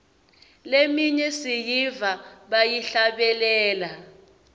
leminye siyiva bayihlabelela